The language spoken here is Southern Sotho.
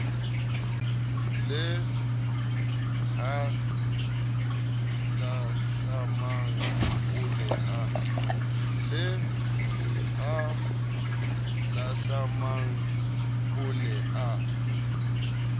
le halahlamang o ne a